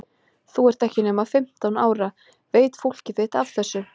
Þú ert ekki nema fimmtán ára. veit fólkið þitt af þessu?